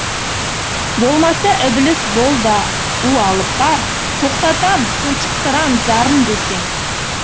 болмаса ібіліс бол да у алып бар тоқтатам тұншықтырам зарын десең